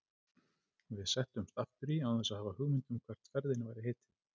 Við settumst aftur í án þess að hafa hugmynd um hvert ferðinni væri heitið.